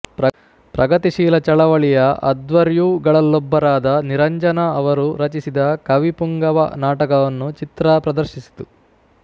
ಪ್ರಗತಿಶೀಲ ಚಳವಳಿಯ ಅಧ್ವರ್ಯುಗಳಲ್ಲೊಬ್ಬರಾದ ನಿರಂಜನ ಅವರು ರಚಿಸಿದ ಕವಿಪುಂಗವ ನಾಟಕವನ್ನು ಚಿತ್ರಾ ಪ್ರದರ್ಶಿಸಿತು